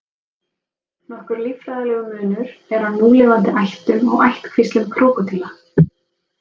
Nokkur líffræðilegur munur er á núlifandi ættum og ættkvíslum krókódíla.